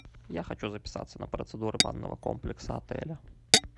я хочу записаться на процедуры банного комплекса отеля